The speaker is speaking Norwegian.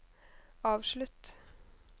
avslutt